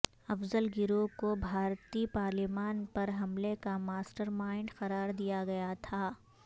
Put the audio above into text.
افضل گرو کو بھارتی پارلیمان پر حملے کا ماسٹر مائنڈ قرار دیا گیا تھا